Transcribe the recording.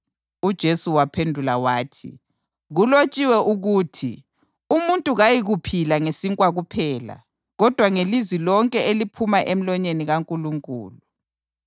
UJesu waphendula wathi, “Kulotshiwe ukuthi: ‘Umuntu kayikuphila ngesinkwa kuphela kodwa ngelizwi lonke eliphuma emlonyeni kaNkulunkulu.’ + 4.4 UDutheronomi 8.3 ”